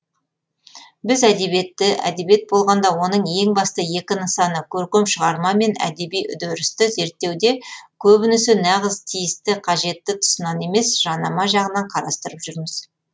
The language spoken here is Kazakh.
біз әдебиетті әдебиет болғанда оның ең басты екі нысаны көркем шығарма мен әдеби үдерісті зерттеуде көбінесе нағыз тиісті қажетті тұсынан емес жанама жағынан қарастырып жүрміз